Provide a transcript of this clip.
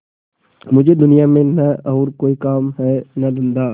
मुझे दुनिया में न और कोई काम है न धंधा